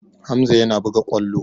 Hamza yana buga ƙwallo.